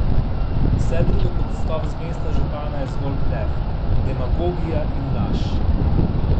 Vse drugo kot odstop z mesta župana je zgolj blef, demagogija in laž.